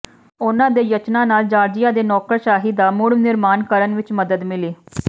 ਉਨ੍ਹਾਂ ਦੇ ਯਤਨਾਂ ਨਾਲ ਜਾਰਜੀਆ ਦੇ ਨੌਕਰਸ਼ਾਹੀ ਦਾ ਮੁੜ ਨਿਰਮਾਣ ਕਰਨ ਵਿਚ ਮਦਦ ਮਿਲੀ